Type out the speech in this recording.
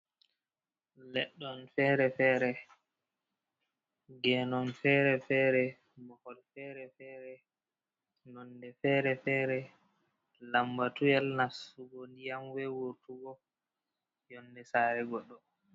Leɗɗon féré-fere, genon féré-féré, mahol féré-féré ,nonde féré-féré lambatuyel nastugo ndiyam wey wurtugo yondé saré goɗɗo.